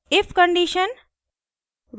if condition